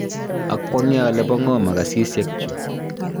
akwonge ale bo ngo makasisiek chu.